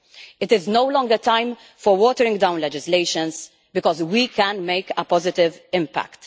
It is no longer time for watering down legislation, because we can make a positive impact.